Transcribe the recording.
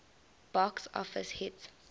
box office hit